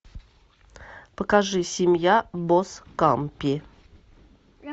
покажи семья боскампи